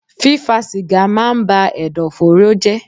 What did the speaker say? Fífa sìgá máa ń ba Ẹ̀dọ̀fóró jẹ́.